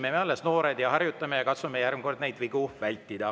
Me oleme alles noored ja harjutame ja katsume järgmine kord niisuguseid vigu vältida.